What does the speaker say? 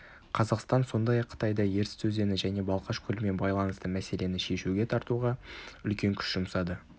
қазақстан сондай-ақ қытайды ертіс өзені және балқаш көлімен байланысты мәселені шешуге тартуға үлкен күш жұмсады